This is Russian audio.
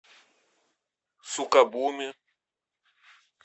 сукабуми